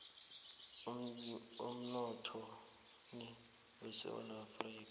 emnothweni wesewula afrika